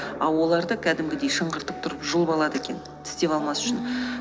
а оларда кәдімгідей шыңғыртып тұрып жұлып алады екен тістеп алмас үшін ммм